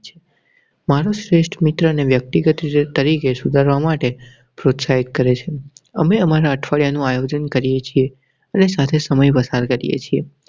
મારા શ્રેષ્ઠ મિત્રને વ્યક્તિગત રીતે તરીકે સુધારવા માટે પ્રોત્સાહિત કરેં છે. અમે અમારા અઠવાડિયા નું આયોજન કરીએ છીએ અને સાથે સમય પસાર કરીએ છીએ.